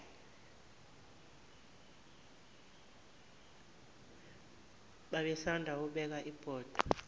babesanda kubeka ibhodwe